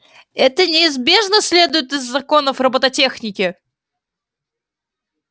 это неизбежно следует из законов роботехники